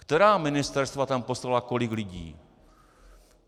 Která ministerstva tam poslala kolik lidí?